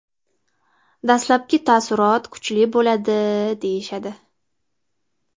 Dastlabki taassurot kuchli bo‘ladi, deyishadi.